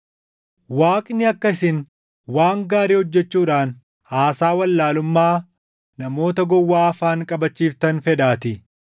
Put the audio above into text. Waaqni akka isin waan gaarii hojjechuudhaan haasaa wallaalummaa namoota gowwaa afaan qabachiiftan fedhaatii.